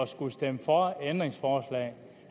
skulle stemme for et ændringsforslag